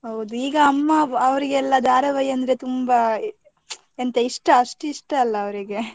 ಹೌದು ಈಗ ಅಮ್ಮ ಅವ್ರಿಗೆಲ್ಲ ಧಾರಾವಾಹಿ ಅಂದ್ರೆ ತುಂಬಾ, ಎಂಥ ಇಷ್ಟ ಅಷ್ಟು ಇಷ್ಟ ಅಲ್ಲಾ ಅವರಿಗೆ.